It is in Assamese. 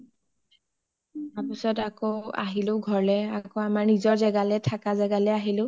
তাৰ পিছত আকৌ ঘৰলে আহিলো, নিজৰ ঘৰলে আহিলো